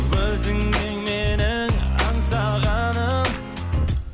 өзің ең менің аңсағаным